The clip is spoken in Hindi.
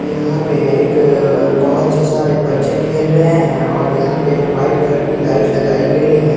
यहां पे एक बहुत से सारे बच्चे खेल रहे हैं और यहां पे वाइट कलर की लाइट लगाई गई हैं।